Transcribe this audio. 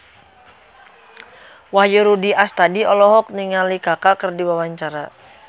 Wahyu Rudi Astadi olohok ningali Kaka keur diwawancara